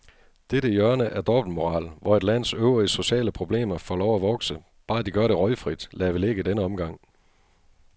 Dette hjørne af dobbeltmoral, hvor et lands øvrige sociale problemer får lov at vokse, bare de gør det røgfrit, lader vi ligge i denne omgang.